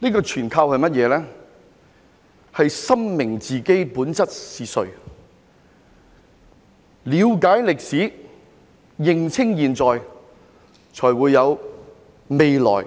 這全靠我們深明自己本質是誰，了解歷史，認清現在，才會有未來。